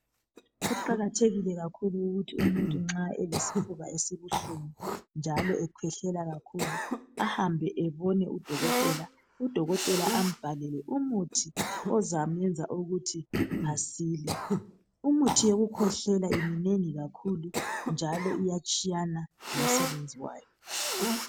Kuqakathekile kakhulu ukuthi umuntu nxa elesifuba esibuhlungu njalo ekhwehlela kakhulu ahambe ebone udokotela, udokotela ambhalele umithi ozamenza ukuthi asile. umuthi wokukhwehlela minengi kakhulu njalo iyatshiyana ngosebenzi wayo.